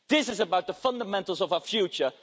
This is about the fundamentals of our future.